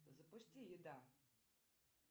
запусти еда